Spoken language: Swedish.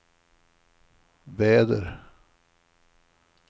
väder